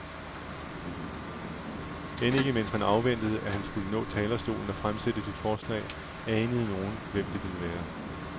End ikke mens man afventede, at han skulle nå talerstolen og fremsætte sit forslag, anede nogen, hvem det ville være.